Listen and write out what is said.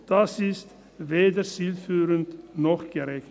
Das ist weder zielführend noch gerecht.